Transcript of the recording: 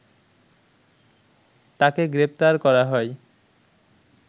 তাকে গ্রেপ্তার করা হয়